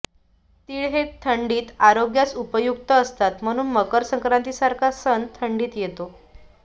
तीळ हे थंडीत आरोग्यास उपयुक्त असतात म्हणून मकर संक्रांतीसारखा सण थंडीत येतो